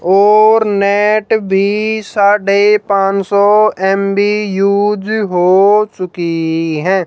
और नेट भी साढ़े पान सौ एमबी यूस हो चुकी है।